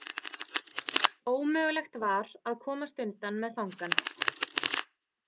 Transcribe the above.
Ómögulegt var að komast undan með fangann.